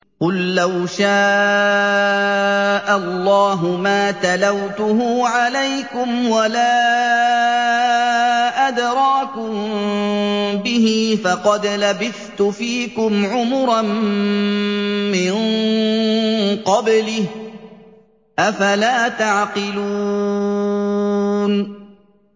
قُل لَّوْ شَاءَ اللَّهُ مَا تَلَوْتُهُ عَلَيْكُمْ وَلَا أَدْرَاكُم بِهِ ۖ فَقَدْ لَبِثْتُ فِيكُمْ عُمُرًا مِّن قَبْلِهِ ۚ أَفَلَا تَعْقِلُونَ